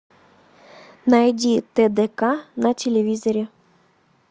найди тдк на телевизоре